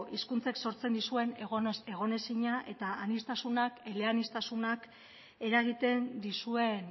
hizkuntzak sortzen dizuen egonezina eta aniztasunak ele aniztasunak eragiten dizuen